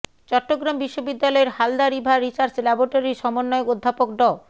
চট্টগ্রাম বিশ্ববিদ্যালয়ের Halda river research ল্যাবরেটরির সমন্বয়ক অধ্যাপক ড